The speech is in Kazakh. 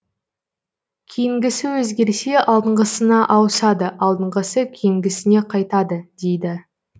кейінгісі өзгерсе алдыңғысына ауысады алдыңғысы кейінгісіне қайтады дейді